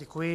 Děkuji.